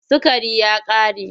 Sukari ya ƙare.